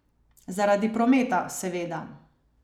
Zaradi prometa, seveda.